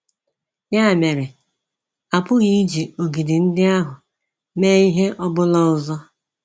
Ya mere, a pụghị iji ogidi ndị ahụ mee ihe ọ bụla ọzọ.